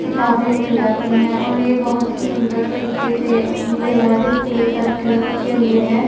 किताबें मिल जाती है और ये बहोत ही सुंदर तरीके से अपनी जगह डिस्प्ले करके रखे हुए हैं।